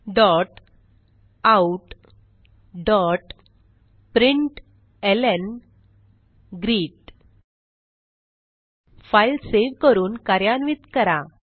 systemoutप्रिंटलं file save करून कार्यान्वित करा